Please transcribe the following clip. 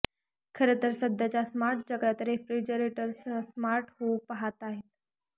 खरं तर सध्याच्या स्मार्ट जगात रेफ्रिजरेटर्सही स्मार्ट होऊ पाहताहेत